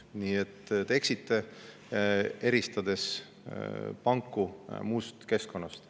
Nii et te eksite, eristades panku muust keskkonnast.